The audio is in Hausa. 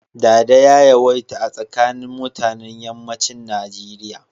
Dada ta yawaita a tsakanin mutanen Yammacin Nijeriya.